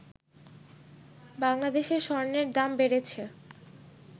বাংলাদেশে স্বর্ণের দাম বেড়েছে